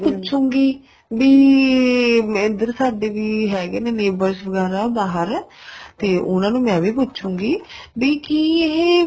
ਪੁੱਛੂਗੀ ਵੀ ਇੱਧਰ ਸਾਡੇ ਵੀ ਹੈਗੇ ਹੈ neighbors ਵਗੈਰਾ ਬਹਾਰ ਤੇ ਉਹਨਾ ਨੂੰ ਮੈਂ ਵੀ ਪੁੱਛੂਗੀ ਵੀ ਕੀ ਇਹ